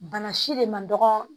Bana si de man dɔgɔ